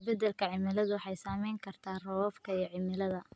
Isbeddelka cimiladu waxay saameyn kartaa roobabka iyo cimilada.